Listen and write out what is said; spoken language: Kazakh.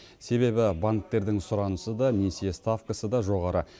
себебі банктердің сұранысы да несие ставкасы да жоғары